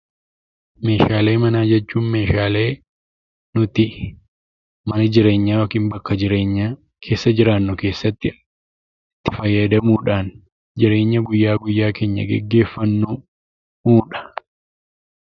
Meeshaalee manaa jechuun meeshaalee nuti mana jireenyaa yookiin bakka jireenyaa keessa jiraannu keessatti fayyadamuudhaan jireenya guyyaa guyyaa keenya gaggeeffannuudha.